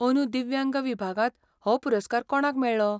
अदूं दिव्यांग विभागांत हो पुरस्कार कोणाक मेळ्ळो?